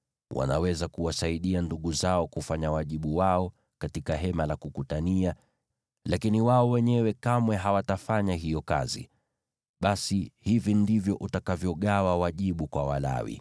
Wanaweza kuwasaidia ndugu zao kufanya wajibu wao katika Hema la Kukutania, lakini wao wenyewe kamwe hawatafanya hiyo kazi. Basi, hivi ndivyo utakavyogawa wajibu kwa Walawi.”